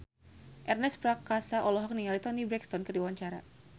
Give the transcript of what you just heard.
Ernest Prakasa olohok ningali Toni Brexton keur diwawancara